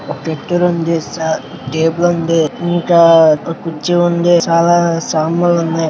ఒక కత్తెర సా టేబల్ ఉంది. ఇంకా ఒక కుర్చీ ఉంది. చాలా సమన్లు ఉన్నాయ్.